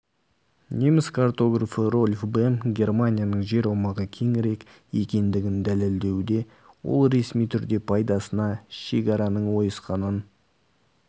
неміс картографы рольф бем германияның жер аумағы кеңірек екендігін дәлелдеуде ол ресми түрде пайдасына шегараның ойысқанын